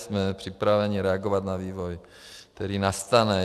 Jsme připraveni reagovat na vývoj, který nastane.